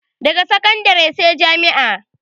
Daga sakandare sai jami'a